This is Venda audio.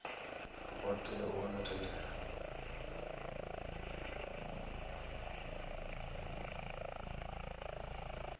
vha tea u wana thendelo